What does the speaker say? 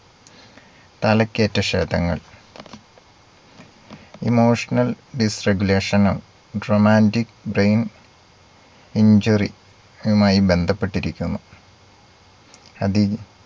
തലക്കേറ്റ ക്ഷതങ്ങൾ emotional disregulation നും dramatic brain injury യുമായി ബന്ധപ്പെട്ടിരിക്കുന്നു. അതിൽ